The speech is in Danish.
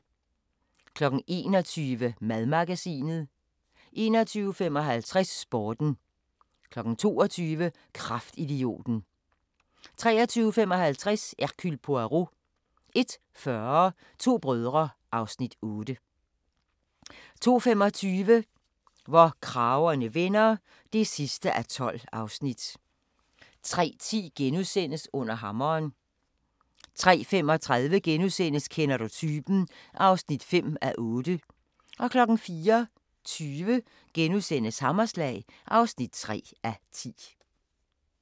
21:55: Sporten 22:00: Kraftidioten 23:55: Hercule Poirot 01:40: To brødre (Afs. 8) 02:25: Hvor kragerne vender (12:12) 03:10: Under hammeren * 03:35: Kender du typen? (5:8)* 04:20: Hammerslag (3:10)*